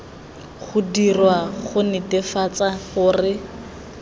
go dirwa go netefatsa gore